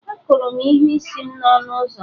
Akụrụ m ihu isi m n'ọnụ ụzọ